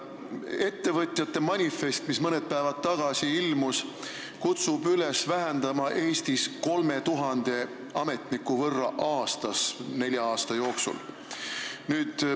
Ettevõtjate manifest, mis mõned päevad tagasi ilmus, kutsub üles vähendama Eesti ametnikkonda 3000 ametniku võrra aastas nelja aasta jooksul.